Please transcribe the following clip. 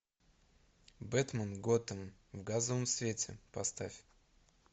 бэтмен готэм в газовом свете поставь